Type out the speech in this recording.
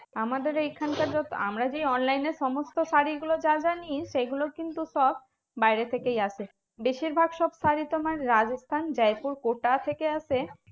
আমাদের এইখানকার যত আমরা যেই online এ সমস্ত শাড়ীগুলো যা যা নিই সেগুলো কিন্তু সব বাইরে থেকেই আসে। বেশিরভাগ সব শাড়ী তোমার রাজস্থান, জয়পুর, কোটা থেকে আসে।